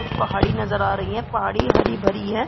कुछ पहाड़ी नजर आ रही हैं पहाड़ी हरी-भरी है।